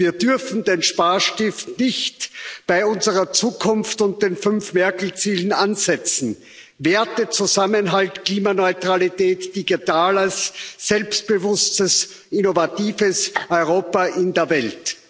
Wir dürfen den Sparstift nicht bei unserer Zukunft und den fünf Merkel Zielen ansetzen Werte, Zusammenhalt, Klimaneutralität, digitales, selbstbewusstes, innovatives Europa in der Welt.